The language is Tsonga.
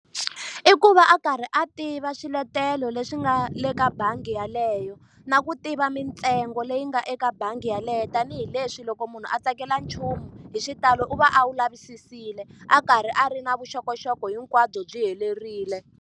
Ku va a karhi a tiva swiletelo leswi nga le ka bangi yeleyo. Na ku tiva mintsengo leyi nga eka bangi yeleyo tanihileswi loko munhu a tsakela nchumu hi xitalo u va a wu lavisile, a karhi a ri na vuxokoxoko hinkwabyo byi helerile.